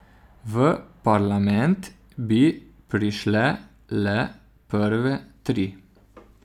V parlament bi prišle le prve tri.